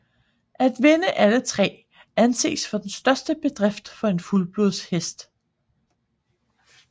At vinde alle tre anses for den største bedrift for en fuldblodshest